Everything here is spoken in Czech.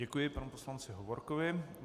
Děkuji panu poslanci Hovorkovi.